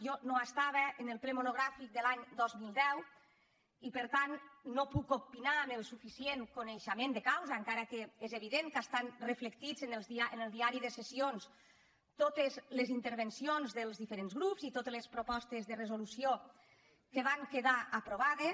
jo no hi era en el ple monogràfic de l’any dos mil deu i per tant no puc opinar amb el suficient coneixement de causa encara que és evident que estan reflectides en el diari de sessions totes les intervencions dels diferents grups i totes les propostes de resolució que van quedar aprovades